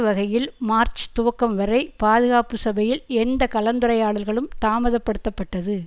வகையில் மார்ச் துவக்கம் வரை பாதுகாப்பு சபையில் எந்த கலந்துரையாடல்களும் தாமதப்படுத்தப்பட்டது